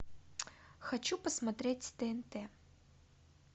хочу посмотреть тнт